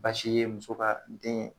Basi ye muso ka den